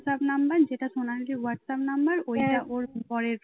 WhatsApp number যেটা সোনালীর WhatsApp number ওইটা ওর বরের